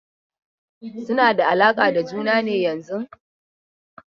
Suna da alaƙa da juna ne yanzun?